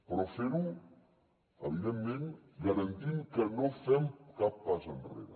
però fer ho evidentment garantim que no fem cap pas enrere